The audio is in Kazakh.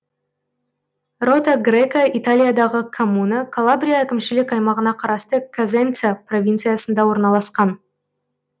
рота грека италиядағы коммуна калабрия әкімшілік аймағына қарасты козенца провинциясында орналасқан